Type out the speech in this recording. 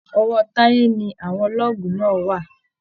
Ọwọ́ Táyé ni àwọn lọ́ọ̀gù náà wà.